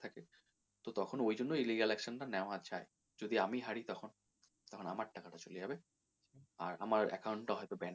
তো তখন ওইজন্য এই legal action টা নেওয়া হয় যদি আমি হাড়ি তখন, তখন আমার টাকা টা চলে যাবে আর আমার account টা হয়তো banned করে দিবে